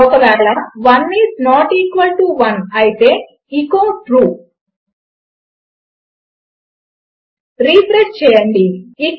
ఒకవేళ 1 is not equal to 1 అయితే echo true refresh చేయండి